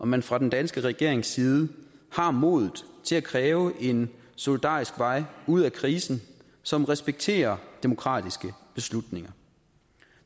man fra den danske regerings side har modet til at kræve en solidarisk vej ud af krisen som respekterer demokratiske beslutninger